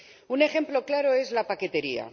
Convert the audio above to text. Un ejemplo claro es la paquetería.